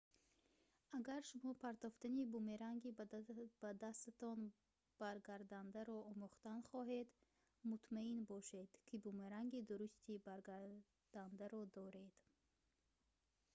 агар шумо партофтани бумеранги ба дастатон баргардандаро омӯхтан хоҳед мутмаъин бошед ки бумеранги дурусти баргардандаро доред